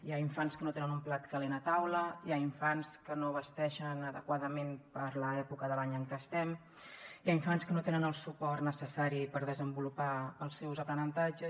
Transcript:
hi ha infants que no tenen un plat calent a taula hi ha infants que no vesteixen adequadament per l’època de l’any en què estem hi ha infants que no tenen el suport necessari per desenvolupar els seus aprenentatges